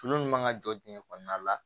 Tulu min man ka jɔ dingɛ kɔnɔna la